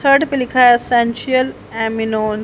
Third पे लिखा है एसेंशियल अमीनोन ।